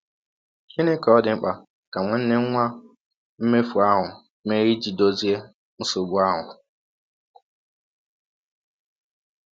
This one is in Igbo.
Gịnị ka ọ dị mkpa ka nwanne nwa mmefụ ahụ mee ịjị dọzie nsọgbụ ahụ?